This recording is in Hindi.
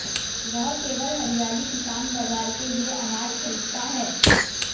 वह केवल हरियाली किसान बाजार के लिए अनाज खरीदता है